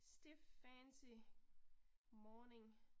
Stiff fancy morning